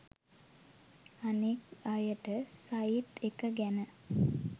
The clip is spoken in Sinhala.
අනික් අයටත් සයිට් එක ගැන